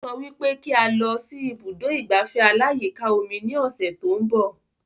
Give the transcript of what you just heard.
Ó sọ wípé kí a lọ sí ibùdó ìgbafẹ́ aláyíká omi ní ọ̀sẹ̀ tó ń bọ̀